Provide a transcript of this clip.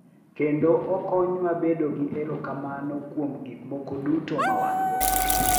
Kendo okonywa bedo gi erokamano kuom gik moko duto ma wan-go.